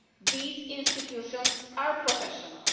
These institutions are professional.